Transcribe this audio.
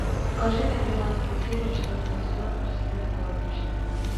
покажи мне двенадцатую серию четвертого сезона президент горничная